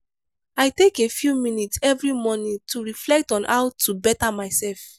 i take a few minutes every morning to reflect on how to better myself.